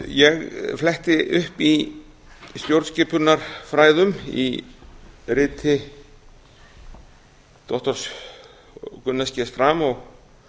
ég fletti upp í stjórnskipunarfræðum í riti doktor gunnars g schrams og